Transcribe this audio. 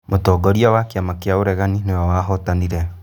Mũtongoria wa kĩama kĩa ũregani nĩwe wahotanire